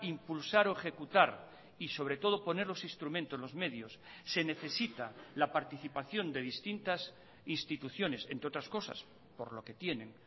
impulsar o ejecutar y sobre todo poner los instrumentos los medios se necesita la participación de distintas instituciones entre otras cosas por lo que tienen